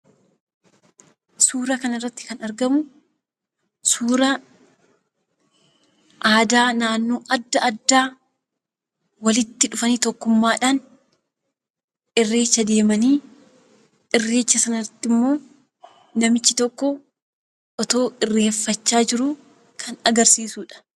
Suuraa kanarratti kan argamu suuraa aadaa naannoo adda addaa walitti dhufanii tokkummmaadhaan, Irreecha deemanii, irreecha sana irrattimmoo, namichi tokko otoo Irreeffachaa jiruu kan agarsiisudha.